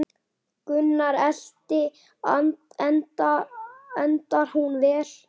Gunnar Atli: Endar hún vel?